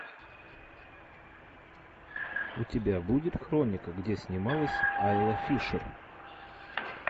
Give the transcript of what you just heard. у тебя будет хроника где снималась айла фишер